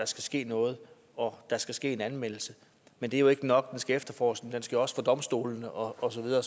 skal ske noget og der skal ske en anmeldelse men det er ikke nok efterforskningen skal jo også for domstolene og så videre